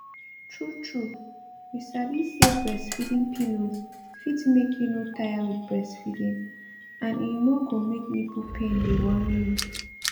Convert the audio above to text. tru tru you sabi say breastfeeding pillows fit make you no tire with breastfeeding and e no go make nipple pain dey worry you